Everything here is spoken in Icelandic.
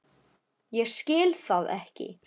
Ég skil það ekki!